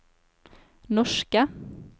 norske